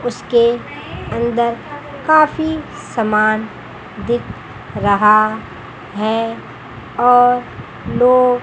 उसके अंदर काफी समान दिख रहा है और लोग--